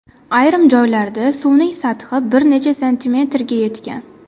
Ayrim joylarda suvning sathi bir necha santimetrga yetgan.